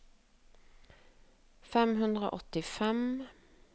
fem hundre og åttifem